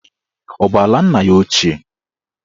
Ọ bụ ala nna ya ochie?